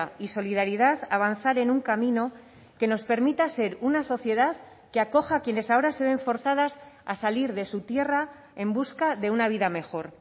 y solidaridad avanzar en un camino que nos permita ser una sociedad que acoja a quienes ahora se ven forzadas a salir de su tierra en busca de una vida mejor